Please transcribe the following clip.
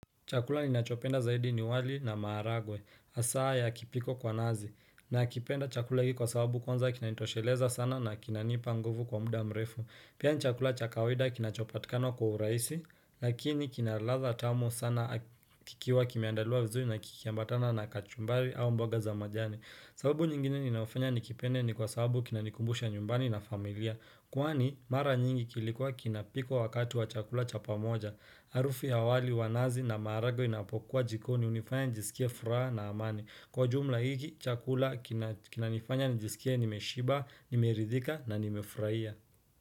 Chakula ninachopenda zaidi ni wali na maharagwe, hasa yakipikwa kwa nazi, nakipenda chakula hiki kwa sababu kwanza kinanitosheleza sana na kinanipa nguvu kwa muda mrefu. Pia ni chakula cha kawaida kinachopatikana kwa urahisi, lakini kina ladha tamu sana kikiwa kimeandaliwa vizuri na kikiambatana na kachumbari au mboga za majani. Sababu nyingine ninayofanya nikipende ni kwa sababu kinanikumbusha nyumbani na familia. Kwani, mara nyingi kilikuwa kinapikwa wakati wa chakula cha pamoja. Harufu ya wali wa nazi na maharagwe inapokuwa jikoni hunifanya nijisikie furaha na amani. Kwa jumla hiki chakula kinanifanya nijisikie nimeshiba, nimeridhika na nimefurahia.